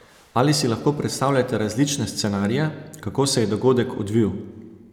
Ali si lahko predstavljate različne scenarije, kako se je dogodek odvil?